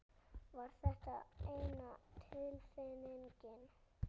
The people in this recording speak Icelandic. Var þetta eina tilnefningin?